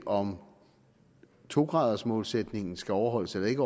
om to gradersmålsætningen skal overholdes eller ikke